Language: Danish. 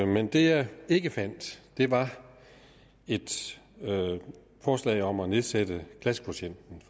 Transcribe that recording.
men det jeg ikke fandt var et forslag om at nedsætte klassekvotienten